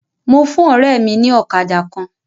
Mo fún ọ̀rẹ́ mi ní ọ̀kadà kan.